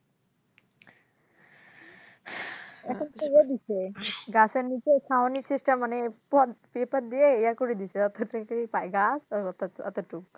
এখন গাছেন নীচে ছাউনি system paper দিয়ে এ করে দিছে গাছ